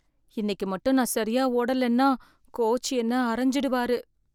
இன்னைக்கு மட்டும் நான் சரியா ஓடலைன்னா கோச் என்னை அறைஞ்சிடுவாரு.